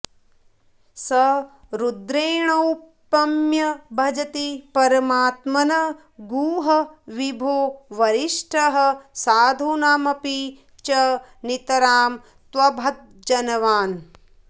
स रुद्रेणौपम्यं भजति परमात्मन् गुह विभो वरिष्ठः साधूनामपि च नितरां त्वद्भजनवान्